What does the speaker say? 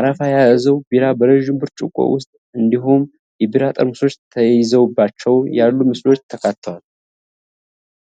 አረፋ የያዘው ቢራ በረዥም ብርጭቆ ውስጥ እንዲሁም የቢራ ጠርሙሶች ተይዘውባቸው ያሉ ምስሎች ተካተዋል።